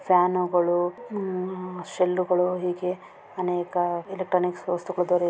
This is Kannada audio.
ಫ್ಯಾನು ಗಳು ಶೆಲ್ಲು ಗಳು ಹೀಗೆ ಅನೇಕ ಎಲೆಕ್ಟ್ರಾನಿಕ್ಸ್ ವಸ್ತುಗಳು ದೊರೆಯು --